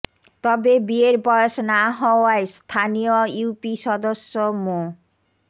তবে বিয়ের বয়স না হওয়ায় স্থানীয় ইউপি সদস্য মো